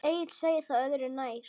Egill segir það öðru nær.